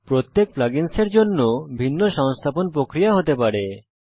প্রত্যেক plug ins এর জন্য ভিন্ন সংস্থাপন প্রক্রিয়া হতে পারে